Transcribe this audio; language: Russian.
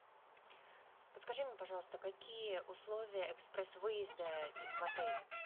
подскажи мне пожалуйста какие условия экспресс выезда в отеле